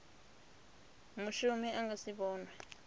mushumi a nga si vhonwe